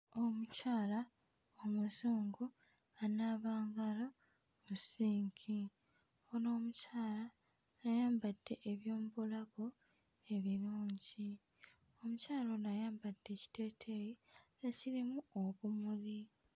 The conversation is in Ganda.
Omukyala Omuzungu anaaba ngalo mu ssinki. Ono omukyala ayambadde ebyomubulago ebirungi. Omukyala Ono ayambadde ekiteeteeyi ekirimu obumuli.